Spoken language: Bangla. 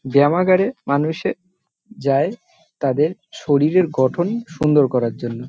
ব্যামাগারে মানুষে যাই তাদের শরীরের গঠন সুন্দর করার জন্য।